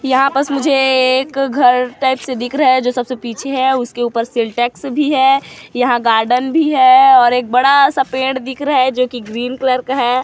यहाँ पास मुझे एक घर टाइप से दिख रहा है जो सबसे पीछे है उसके ऊपर सिंटेक्स भी है यहाँ गार्डन भी है और एक बड़ा-सा पेड़ दिख रहा हैं जो कि ग्रीन कलर का--